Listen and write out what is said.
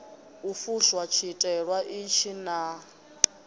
u fusha tshiteṅwa itshi naa